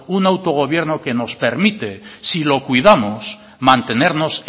un autogobierno que nos permite si lo cuidamos mantenernos